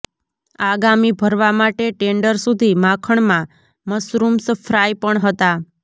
આગામી ભરવા માટે ટેન્ડર સુધી માખણ માં મશરૂમ્સ ફ્રાય પણ હતા